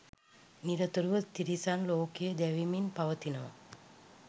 නිරතුරුව තිරිසන් ලෝකය දැවෙමින් පවතිනවා.